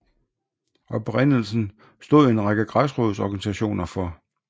Oprindelsen stod en række græsrodsorganisationer for